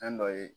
Fɛn dɔ ye